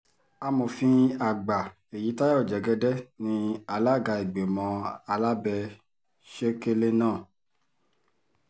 amòfin àgbà èyítayọ jẹ́gẹ́dẹ́ ní alága ìgbìmọ̀ alábẹ́-sẹ̀kẹ̀lẹ̀ náà